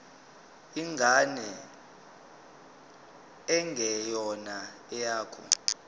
ingane engeyona eyakho